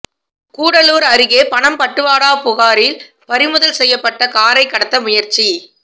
கூடலூர் அருகே பணம் பட்டுவாடா புகாரில் பறிமுதல் செய்யப்பட்ட காரை கடத்த முயற்சி